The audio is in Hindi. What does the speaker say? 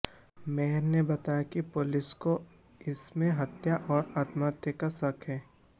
मेहर ने बताया कि पुलिस को इसमें हत्या और आत्महत्या का शक है